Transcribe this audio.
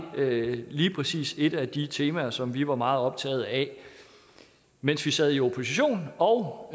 lige præcis et af de temaer som vi var meget optaget af mens vi sad i opposition og